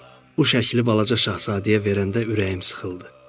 O şəkli Balaca Şahzadəyə verəndə ürəyim sıxıldı.